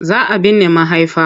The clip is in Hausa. Za a binne mahaifa.